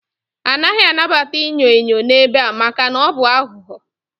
A naghị anabata inyo enyo n'ebe a maka na ọ bụ aghụghọ